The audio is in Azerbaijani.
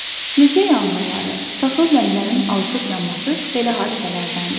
Meşə yanğınları, taxıl zəmilərinin alışıb yanması belə hadisələrdəndir.